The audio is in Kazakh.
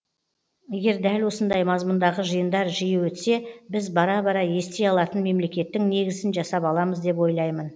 егер дәл осындай мазмұндағы жиындар жиі өтсе біз бара бара ести алатын мемлекеттің негізін жасап аламыз деп ойлаймын